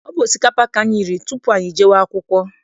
Ọ bụ osikapa ka anyị riri tupu anyị jee akwụkwọ.